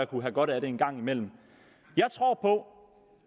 kunne have godt af det en gang imellem